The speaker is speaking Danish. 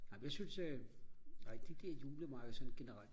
ej men jeg synes øh nej de der julemarkeder sådan generelt